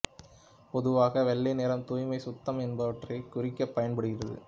பொதுவாக வெள்ளை நிறம் தூய்மை சுத்தம் என்பவற்றைக் குறிக்கப் பயன்படுகிறது